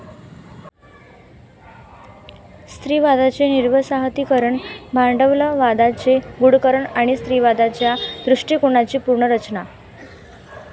स्त्रीवादाची निर्वसाहतीकरण, 'भांडवलवादाचे गूढकरण ', आणि 'स्त्रीवादाच्या दृष्टीकोनाची पुनर्रचना '.